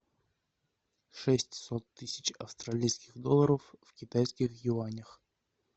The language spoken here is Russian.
шестьсот тысяч австралийских долларов в китайских юанях